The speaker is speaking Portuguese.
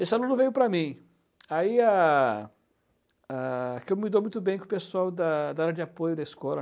Esse aluno veio para mim, aí a a que eu me dou muito bem com o pessoal da da área de apoio da escola.